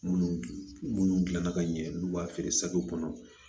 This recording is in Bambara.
Munnu munnu gilanna ka ɲɛ n'u b'a feere kɔnɔ